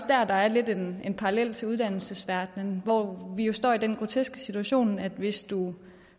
der her er en parallel til uddannelsesverdenen hvor vi jo står i den groteske situation at hvis du